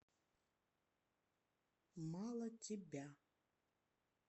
мало тебя